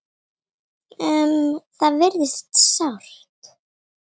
Um það virðist sátt.